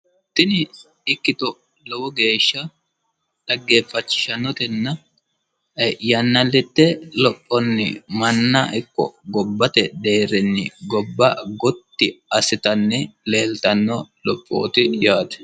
Tini ikkito lowo geeshsha xaggeeffachishanotenna yanna lede ayi manna ikko gobba lede gotti assite leeltanno lophooti yaate.